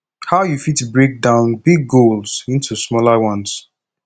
how you fit break down big goals into smaller ones